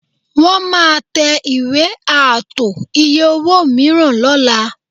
Wọ́n máa tẹ ìwé ààtò iye-owó mìíràn lọ́la